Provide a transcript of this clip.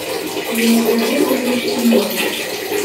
елизаветой лучкиной